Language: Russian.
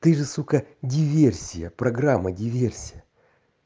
ты же сука диверсия программа диверсия